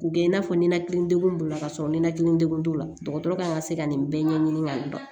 K'u kɛ i n'a fɔ ninakili degun b'u la ka sɔrɔ ninakili degun t'u la dɔgɔtɔrɔ kan ka se ka nin bɛɛ ɲɛɲini ka dɔn